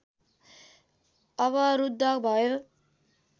अवरुद्ध भयो